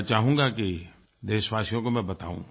मैं चाहूँगा कि देशवासियों को मैं बताऊँ